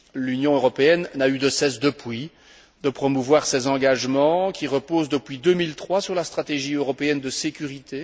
L'Union européenne n'a eu de cesse, depuis, de promouvoir ces engagements, qui reposent, depuis 2003, sur la stratégie européenne de sécurité.